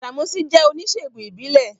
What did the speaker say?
Gbàdàmọ́sí jẹ́ oníṣèègùn ìbílẹ̀